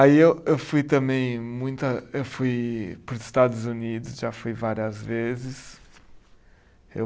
Aí eu eu fui também muita, eu fui para os Estados Unidos, já fui várias vezes. Eu